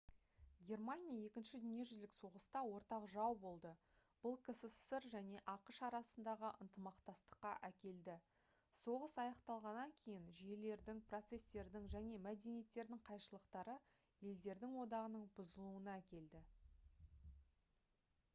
германия 2-ші дүниежүзілік соғыста ортақ жау болды бұл ксср және ақш арасындағы ынтымақтастыққа әкелді соғыс аяқталғаннан кейін жүйелердің процестердің және мәдениеттердің қайшылықтары елдердің одағының бұзылуына әкелді